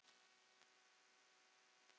Mynd og kort